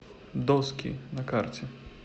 доски на карте